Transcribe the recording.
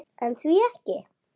En því ekki?